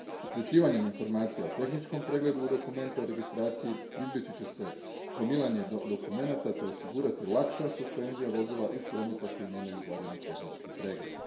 Uključivanjem informacija o tehničkom pregledu u dokumente o registraciji izbjeći će se gomilanje dokumenata te osigurati lakša suspenzija vozila iz prometa koja nemaju valjani tehnički pregled.